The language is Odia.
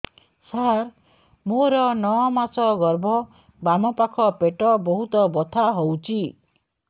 ସାର ମୋର ନଅ ମାସ ଗର୍ଭ ବାମପାଖ ପେଟ ବହୁତ ବଥା ହଉଚି